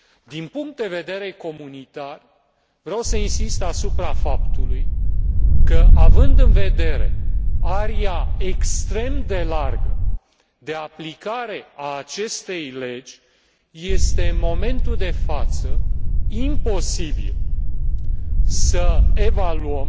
Din punct de vedere comunitar, vreau să insist asupra faptului că, având în vedere aria extrem de largă de aplicare a acestei legi, este în momentul de față imposibil să evaluăm